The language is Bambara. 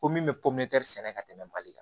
Ko min bɛ pomɛri sɛnɛ ka tɛmɛ mali kan